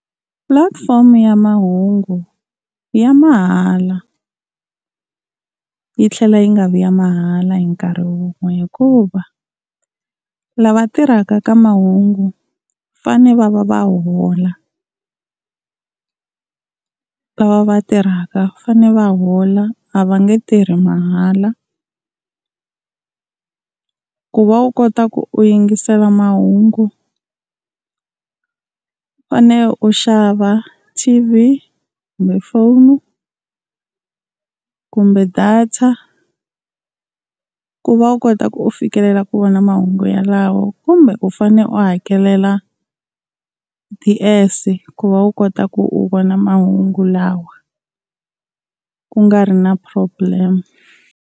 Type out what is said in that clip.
Platform ya mahungu ya mahala yi tlhela yi nga vi ya mahala hi nkarhi wun'we, hikuva lava tirhaka ka mahungu vafane va va va hola lava va tirhaka fane va hola, a va nge tirhi mahala. Ku va u kota ku u yingisela mahungu u fanele u xava T_V, kumbe phone kumbe data ku va u kota ku u fikelela ku vona mahungu yalawo, kumbe u fane u hakelela D_S ku va u kota ku u vona mahungu lawa ku nga ri na problem.